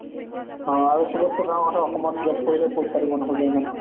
অ' সবতকৈ ডাঙৰ কথা অসমত job কৰিলেও পইচা দিব নোখোজে ইমান